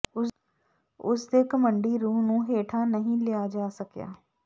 ਉਸ ਦੇ ਘਮੰਡੀ ਰੂਹ ਨੂੰ ਹੇਠਾਂ ਨਹੀਂ ਲਿਆ ਜਾ ਸਕਿਆ